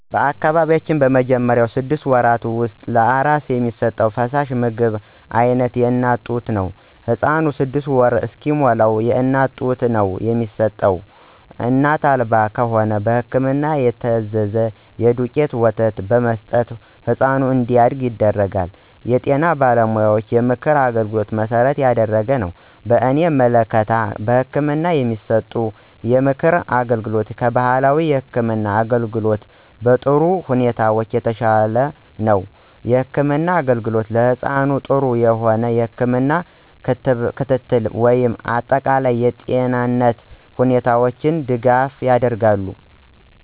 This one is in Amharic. በአካባቢው በመጀመሪያውቹ ስድስት ወራት ውስጥ ለአራስ የሚሰጥ ፈሳሽ የምግብ አይነት የእናት ጡት ነው። ህፃኑ ስድስት ወር እስከሚሞላዉ የእናት ጡት ነው የሚጠባው እናት አልባ ከሆነ በህክምና የታዘዘ የዱቄት ወተት በመስጠት ህፃኑ እንዲያድግ ይደረጋል። የጤና ባለሙያዎችን የምክር አገልግሎት መሠረት ያደረገ ነው። በእኔ ምልከታ በህክምና የሚሰጠው የምክር አገልግሎት ከባህላዊ የህክም አገልግሎት በጥሩ ሁኔታዎች የተሻለ ነው። የህክምና አገልግሎት ለህፃኑ ጥሩ የሆነ የህክም ክትትል ወይም አጠቃላይ የጤንነቱ ሁኔታዎች ድጋፍ ያደርጋሉ።